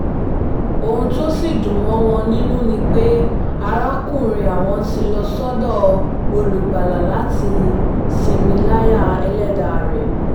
ohun tó sì dùn mọ́ àwọn nínú ni pé arákùnrin àwọn ti lọ sọ́dọ̀ olùgbàlà láti sinmi láyà ẹlẹ́dàá rẹ̀